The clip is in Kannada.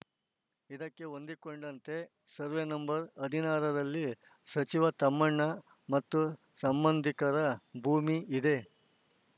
ಇದಕ್ಕೆ ಹೊಂದಿಕೊಂಡಂತೆ ಸರ್ವೆ ನಂಬರ್ ಹದಿನಾರರಲ್ಲಿ ಸಚಿವ ತಮ್ಮಣ್ಣ ಮತ್ತು ಸಂಬಂಧಿಕರ ಭೂಮಿ ಇದೆ